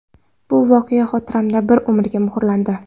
Bu voqea xotiramda bir umrga muhrlandi.